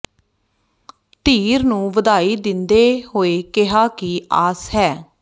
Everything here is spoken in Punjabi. ਧੀਰ ਨੂੰ ਵਧਾਈ ਦਿੰਦੇ ਹੋਏ ਕਿਹਾ ਕਿ ਆਸ ਹੈ ਡਾ